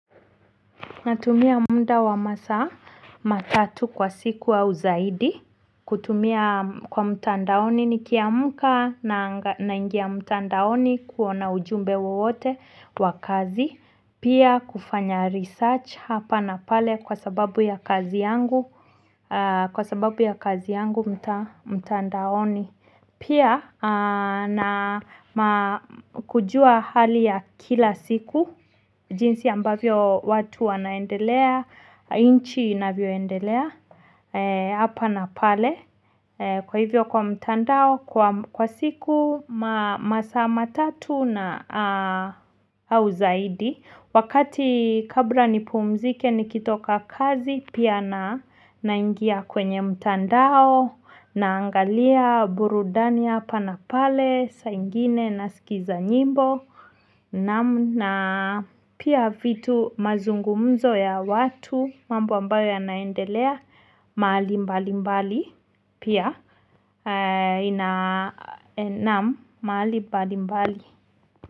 Natumia muda wa masaa matatu kwa siku au zaidi. Kutumia kwa mtandaoni nikiamka naingia mtandaoni kuona ujumbe wowote wa kazi pia kufanya research hapa na pale kwa sababu ya kazi yangu mtandaoni pia na kujua hali ya kila siku jinsi ambavyo watu wanaendelea nchi inavyoendelea hapa na pale. Kwa hivyo kwa mtandao kwa siku masaa matatu na au zaidi. Wakati kabla nipumzike nikitoka kazi pia naingia kwenye mtandao. Naangalia burudani hapa na pale saa ingine nasikiza nyimbo naam na pia vitu mazungumzo ya watu mambo ambayo yanaendelea mahali mbali mbali pia na, naam mahali mbali mbali.